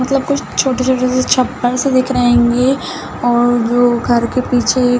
मतलब कुछ छोटे-छोटे से छप्पर से दिख रहे हैंगे और जो घर के पीछे --